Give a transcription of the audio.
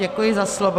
Děkuji za slovo.